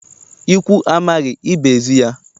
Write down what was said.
Ikwu amaghị, ibe ezi ya.